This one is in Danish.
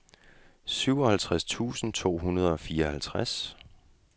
syvoghalvtreds tusind to hundrede og fireoghalvtreds